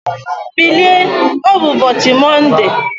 Bilie, ọ bụ ụbọchị Mọnde!